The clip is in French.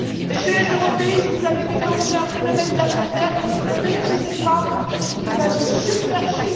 Messieurs les européistes, vous avez déclenché un phénomène d'appel d'air que vous ne maîtrisez pas et qui va nous submerger!